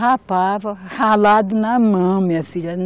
Rapava, ralado na mão, minha filha.